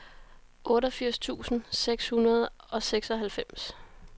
otteogfirs tusind seks hundrede og seksoghalvfems